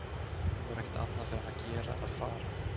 Nú var ekkert annað fyrir hann að gera en að fara.